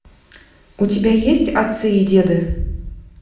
у тебя есть отцы и деды